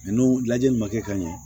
N'o lajɛli ma kɛ ka ɲɛ